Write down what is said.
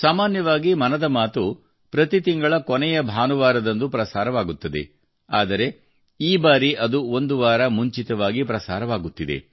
ಸಾಮಾನ್ಯವಾಗಿ ಮನದ ಮಾತು ಪ್ರತಿ ತಿಂಗಳ ಕೊನೆಯ ಭಾನುವಾರದಂದು ಪ್ರಸಾರವಾಗುತ್ತದೆ ಆದರೆ ಈ ಬಾರಿ ಅದು ಒಂದು ವಾರ ಮುಂಚಿತವಾಗಿ ಪ್ರಸಾರವಾಗುತ್ತಿದೆ